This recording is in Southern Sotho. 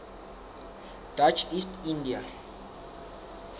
dutch east india